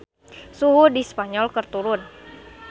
Suhu di Spanyol keur turun